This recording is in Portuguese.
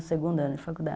O segundo ano de faculdade.